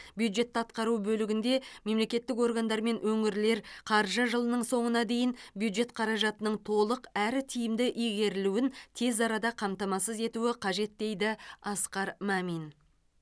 бюджетті атқару бөлігінде мемлекеттік органдар мен өңірлер қаржы жылының соңына дейін бюджет қаражатының толық әрі тиімді игерілуін тез арада қамтамасыз етуі қажет дейді асқар мәмин